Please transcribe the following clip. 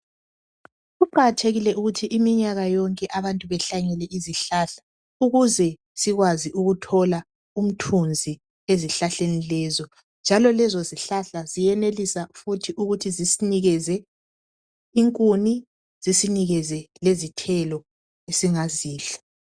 Kuqakathekile ukuthi iminyaka yonke abantu behlanyele izihlahla ukuze sikwazi ukuthola umthunzi ezihlahleni lezo njalo lezo izihlahla ziyenelisa futhi ukuthi zisinikeze inkuni zisinikeze lezithelo esingazidla.